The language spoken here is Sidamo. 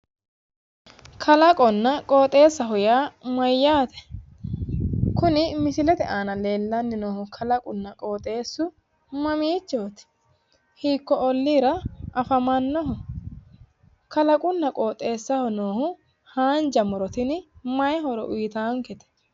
Kalaqonna qooxeessaho yaa mayyaate? Kuni misilete aana leellanni noohu kalaqunna qooxeessu mamiichooti? Hiikko olliira afamannoho? Kalaqunna qooxeessaho noohu haanja muro tini mayii horo uyitaankete?